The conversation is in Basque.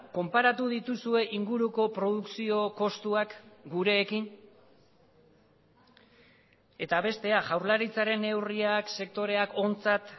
konparatu dituzue inguruko produkzio kostuak gureekin eta bestea jaurlaritzaren neurriak sektoreak ontzat